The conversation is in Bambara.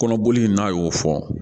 Kɔnɔboli n'a y'o fɔ